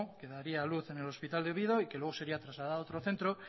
que daría a luz en el hospital de oviedo y que luego sería trasladada a otro centro